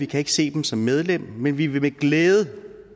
kan se dem som medlem men vi vil med glæde